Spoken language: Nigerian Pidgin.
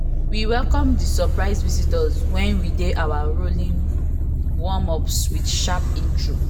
we welcome the surprise visitors wen we dey do our rowing warm ups with sharp intro